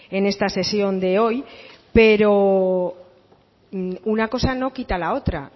en esta sesión de hoy pero una cosa no quita la otra